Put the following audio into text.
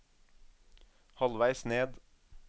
halvveis ned